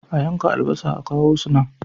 A yanka albasa a kawo su nan.